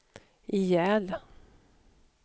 ihjäl